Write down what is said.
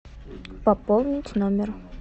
пополнить номер